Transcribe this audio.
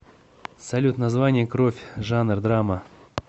салют название кровь жанр драма